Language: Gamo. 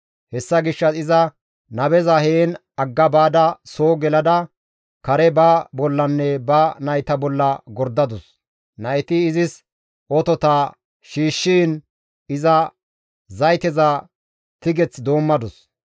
Hessa gishshas iza nabeza heen agga baada soo gelada kare ba bollanne ba nayta bolla gordadus; nayti izis otota shiishshiin iza zayteza tigeth doommadus.